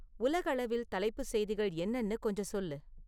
உலகளவில் தலைப்புச் செய்திகள் என்னணு கொஞ்சம் சொல்லு